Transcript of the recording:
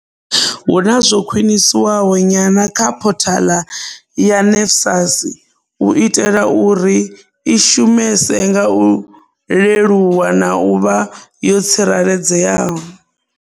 Hu na zwo khwinisiwaho nyana kha phothaḽa ya NSFAS u itela uri i shumese nga u leluwa na u vha yo tsireledzeaho.